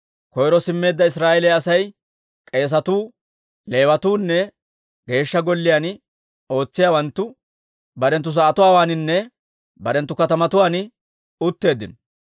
Koyro simmeedda Israa'eeliyaa asay, k'eesatuu, Leewatuunne Geeshsha Golliyaan ootsiyaawanttu barenttu sa'atuwaaninne barenttu katamatuwaan utteeddino.